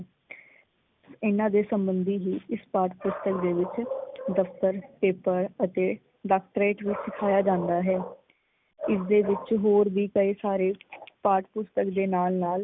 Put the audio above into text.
ਇਹਨਾਂ ਦੇ ਸਬੰਧੀ ਹੀ ਇਸ ਪਾਠ ਪੁਸਤਕ ਦੇ ਵਿੱਚ ਦਫ਼ਤਰ ਪੇਪਰ ਅਤੇ ਡਾਕਟਰੇਟ ਵਿੱਚ ਸਿਖਾਇਆ ਜਾਂਦਾ ਹੈ । ਇਸ ਦੇ ਵਿੱਚ ਹੋਰ ਵੀ ਕਈ ਸਾਰੇ ਪਾਠ ਪੁਸਤਕ ਦੇ ਨਾਲ ਨਾਲ